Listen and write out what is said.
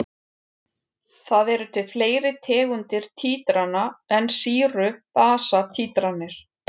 Það eru til fleiri tegundir títrana en sýru-basa títranir.